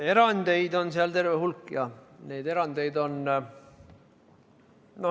Erandeid on seal terve hulk, jah, neid erandeid on.